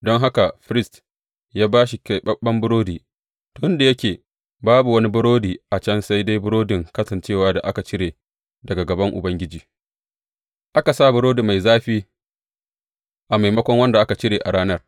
Don haka firist ya ba shi keɓaɓɓen burodi, tun da yake babu wani burodi a can sai dai burodin Kasancewa da aka cire daga gaban Ubangiji, aka sa burodi mai zafi a maimakon wanda aka cire a ranar.